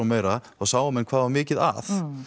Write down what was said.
meira þá sáu menn hvað það var mikið að